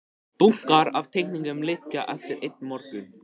Bunkar af teikningum liggja eftir einn morgun.